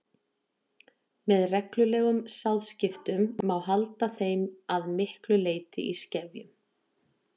með reglulegum sáðskiptum má halda þeim að miklu leyti í skefjum